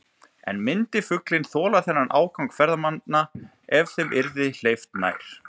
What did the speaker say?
En myndi fuglinn þola þennan ágang ferðamanna ef þeim yrði hleypt nær?